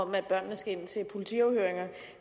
om børnene skal ind til politiafhøringer